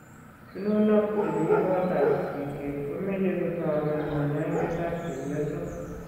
Chununoik che mi kotab sigishet ko meche kotoben kanyoindetab chepyosok.